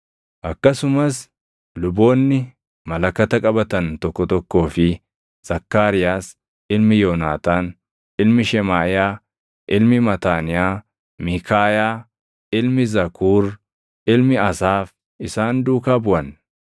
akkasumas luboonni malakata qabatan tokko tokkoo fi Zakkaariyaas ilmi Yoonaataan, ilmi Shemaaʼiyaa, ilmi Mataaniyaa, Miikaayaa, ilmi Zakuur, ilmi Asaaf isaan duukaa buʼan;